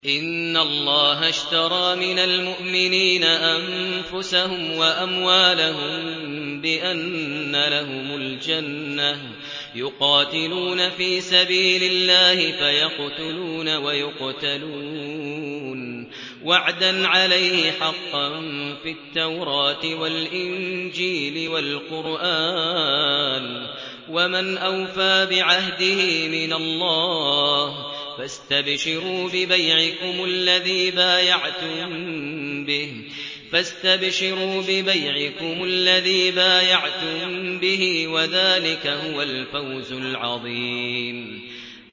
۞ إِنَّ اللَّهَ اشْتَرَىٰ مِنَ الْمُؤْمِنِينَ أَنفُسَهُمْ وَأَمْوَالَهُم بِأَنَّ لَهُمُ الْجَنَّةَ ۚ يُقَاتِلُونَ فِي سَبِيلِ اللَّهِ فَيَقْتُلُونَ وَيُقْتَلُونَ ۖ وَعْدًا عَلَيْهِ حَقًّا فِي التَّوْرَاةِ وَالْإِنجِيلِ وَالْقُرْآنِ ۚ وَمَنْ أَوْفَىٰ بِعَهْدِهِ مِنَ اللَّهِ ۚ فَاسْتَبْشِرُوا بِبَيْعِكُمُ الَّذِي بَايَعْتُم بِهِ ۚ وَذَٰلِكَ هُوَ الْفَوْزُ الْعَظِيمُ